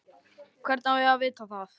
Hvernig á ég að vita það?